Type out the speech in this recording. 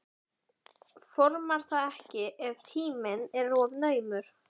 Formar það ekki ef tíminn er of naumur.